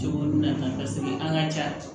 an ka ca